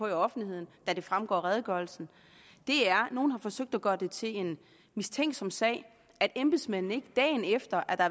i offentligheden da det fremgår af redegørelsen er at nogle har forsøgt at gøre det til en mistænkelig sag at embedsmændene ikke dagen efter at der